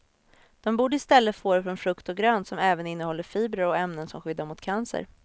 De borde i stället få det från frukt och grönt som även innehåller fibrer och ämnen som skyddar mot cancer.